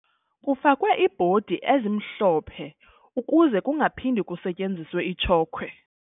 Kufakwe iibhodi ezimhlophe ukuze kungaphindi kusetyenziswe itshokhwe.